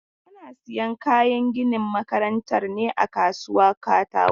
Ana sayan kayan ginin makarantar ne a kasuwan katako.